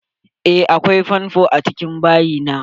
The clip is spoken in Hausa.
Eh, akwai fonfo a cikin bayi na.